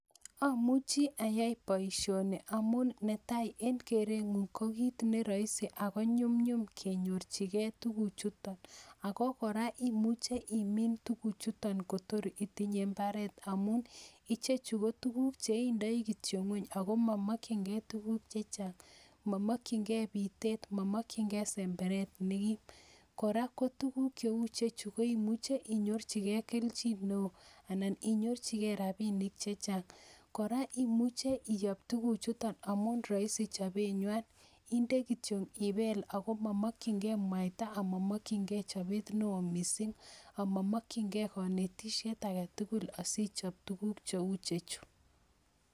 Amuchi ayai boishoni amun netai eng kerenyun ko kit neroisi akonyumnyum kenyorchigee tugukchuton ako kora imuche imin tuguchuton kotitinye imbaret amun ichechu kotuguk cheindoi kityok ngwony ako momokyinge tuguuk chechang. Momokyingei bitet momokyingei semberet nekim, kora kotuguuk Che ichechu imuche inyorchigei kelchin neo anan inyorchigei rabishek. Kora imuche iyoo tuguchuton amun roisi chobenywan indee kityok ibel, ako momokyingei mwaita ama momokyingei chobet neo missing ak momokyingei konetishiet agetugul asichop tuguuk cheuchutok